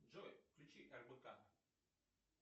джой включи рбк